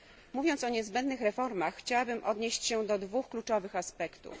Mówiąc o niezbędnych reformach chciałabym odnieść się do dwóch kluczowych aspektów.